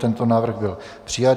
Tento návrh byl přijat.